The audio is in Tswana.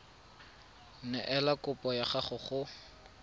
neela kopo ya gago go